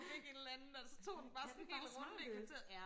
og fik et eller andet og så tog den sådan en hel runde i kvarteret